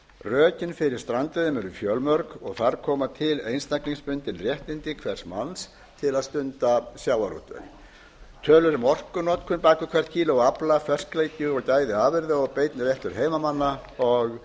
rökin fyrir strandveiðum eru fjölmörg og þar koma til einstaklingsbundin réttindi hvers manns til að stunda sjávarútveg tölur um orkunotkun bak við hvert kíló af afla ferskleiki gæði afurða og beinn rekstur heimamanna og